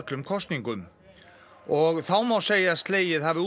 og þá má segja að slegið hafi út í fyrir forsetanum